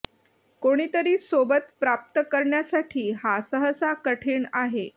कोणीतरी सोबत प्राप्त करण्यासाठी हा सहसा कठीण आहे